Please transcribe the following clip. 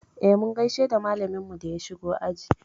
Eh, mun gaishe da malaminmu da ya shigo aji.